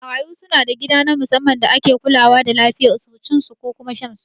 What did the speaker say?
Marayu suna da gida na musamman da ake kulawa da lafiyan su, cin su da kuma shan su